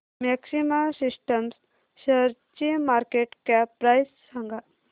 maxima Systems शेअरची market cap price सांगा